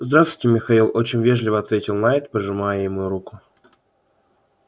здравствуйте михаил очень вежливо ответил найд пожимая ему руку